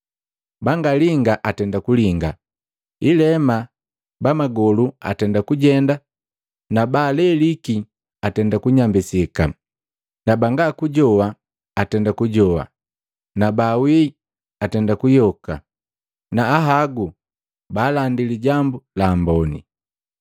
bangalinga atenda kulinga, ilema bamagolu atenda kujenda na baaleliki atenda kunyambisika na banga kujoa atenda kujowa na baawii atenda kuyoka na ahagu baalandi Lijambu la Amboni.